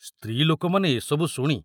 ସ୍ତ୍ରୀ ଲୋକମାନେ ଏ ସବୁ ଶୁଣି